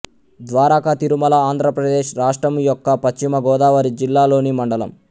ద్వారకా తిరుమల ఆంధ్ర ప్రదేశ్ రాష్ట్రము యొక్క పశ్చిమ గోదావరి జిల్లాలోని మండలం